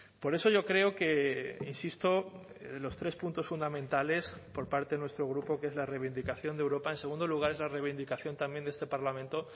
por eso yo creo que insisto los tres puntos fundamentales por parte de nuestro grupo que es la reivindicación de europa en segundo lugar es la reivindicación también de este parlamento